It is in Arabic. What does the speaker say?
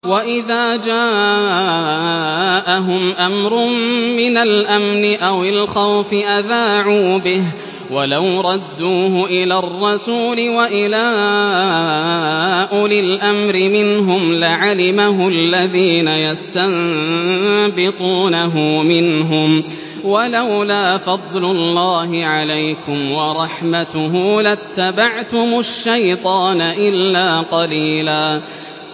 وَإِذَا جَاءَهُمْ أَمْرٌ مِّنَ الْأَمْنِ أَوِ الْخَوْفِ أَذَاعُوا بِهِ ۖ وَلَوْ رَدُّوهُ إِلَى الرَّسُولِ وَإِلَىٰ أُولِي الْأَمْرِ مِنْهُمْ لَعَلِمَهُ الَّذِينَ يَسْتَنبِطُونَهُ مِنْهُمْ ۗ وَلَوْلَا فَضْلُ اللَّهِ عَلَيْكُمْ وَرَحْمَتُهُ لَاتَّبَعْتُمُ الشَّيْطَانَ إِلَّا قَلِيلًا